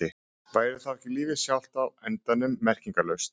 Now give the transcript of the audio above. Væri þá ekki lífið sjálft á endanum merkingarlaust?